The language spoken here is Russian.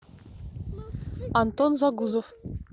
антон загузов